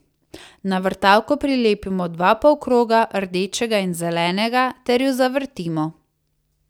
Na vrtavko prilepimo dva polkroga, rdečega in zelenega, ter jo zavrtimo.